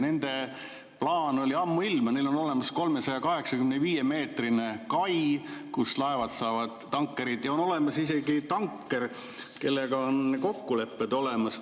Neil oli ammuilma plaan, neil on olemas 385-meetrine kai, kus laevad, tankerid saavad, ja on olemas isegi tanker, kellega on kokkulepped olemas.